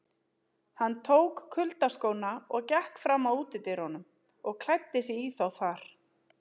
Hann tók kuyldaskóna og gekk fram að útidyrunum og klæddi sig í þá þar.